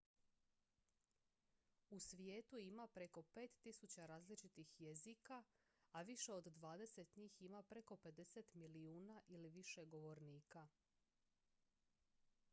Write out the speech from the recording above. u svijetu ima preko 5000 različitih jezika a više od dvadeset njih ima preko 50 milijuna ili više govornika